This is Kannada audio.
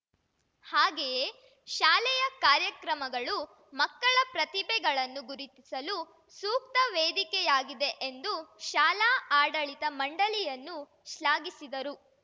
ಹಾಗೆಯೇ ಶಾಲೆಯ ಕಾರ್ಯಕ್ರಮಗಳು ಮಕ್ಕಳ ಪ್ರತಿಭೆಗಳನ್ನು ಗುರುತಿಸಲು ಸೂಕ್ತ ವೇದಿಕೆಯಾಗಿದೆ ಎಂದು ಶಾಲಾ ಆಡಳಿತ ಮಂಡಳಿಯನ್ನು ಶ್ಲಾಘಿಸಿದರು